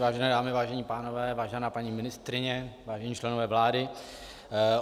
Vážené dámy, vážení pánové, vážená paní ministryně, vážení členové vlády.